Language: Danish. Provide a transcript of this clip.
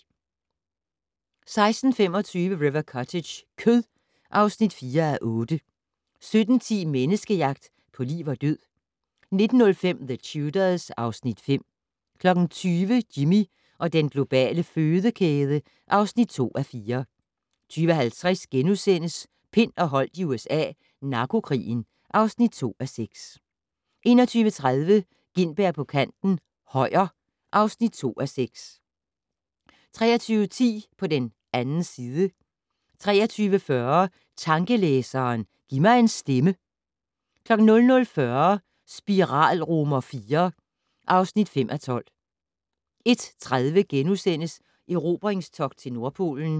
16:25: River Cottage - kød (4:8) 17:10: Menneskejagt på liv og død 19:05: The Tudors (Afs. 5) 20:00: Jimmy og den globale fødekæde (2:4) 20:50: Pind og Holdt i USA - narkokrigen (2:6)* 21:30: Gintberg på kanten - Højer (2:6) 23:10: På den 2. side 23:40: Tankelæseren - giv mig en stemme 00:40: Spiral IV (5:12) 01:30: Erobringstogt til Nordpolen *